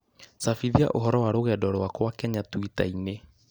cabithia ũhoro wa rũgendo rwakwa Kenya twitter-inĩ